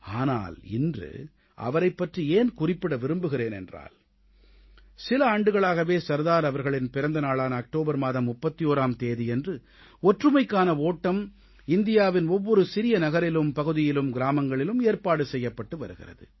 ஆனால் இன்று அவரைப் பற்றி ஏன் குறிப்பிட விரும்புகிறேன் என்றால் சில ஆண்டுகளாகவே சர்தார் அவர்களின் பிறந்த நாளான அக்டோபர் மாதம் 31ஆம் தேதியன்று ஒற்றுமைக்கான ஒட்டம் இந்தியாவின் ஒவ்வொரு சிறிய நகரிலும் பகுதியிலும் கிராமங்களிலும் ஏற்பாடு செய்யப்பட்டு வருகிறது